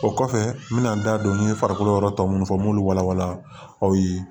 O kɔfɛ n bɛna n da don n ye farikolo yɔrɔ tɔ minnu fɔ n b'olu walawala aw ye